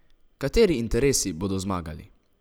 Kateri interesi bodo zmagali?